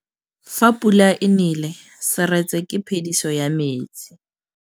Fa pula e nelê serêtsê ke phêdisô ya metsi.